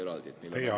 Teie aeg!